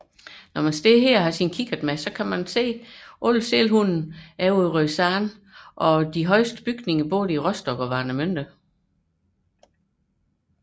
Herfra kan man med kikkert se sælerne på Rødsand samt de højeste bygninger i Rostock og Warnemünde